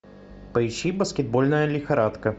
поищи баскетбольная лихорадка